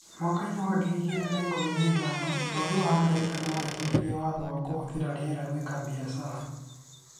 Mwaka-inĩ wa ngiri igĩrĩ na ikũmi na ithano, bũrũri wa Amerika nĩ wahĩtũkirie watho wa kũhũthĩra rĩera gwĩka biacara.